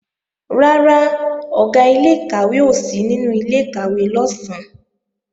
Rárá, Ọ̀gá ilé-ìkàwé ò sí nínú ilé-ìkàwé lọ̀sán